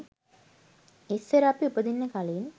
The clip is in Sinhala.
ඉස්සර අපි උපදින්න කලින්